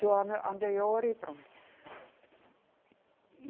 Do ano anterior e pronto. E